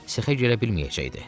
Sexə girə bilməyəcəkdi.